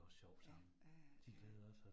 Ja, ja ja, ja ja